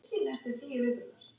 Þeir gætu ekki neitað þessu.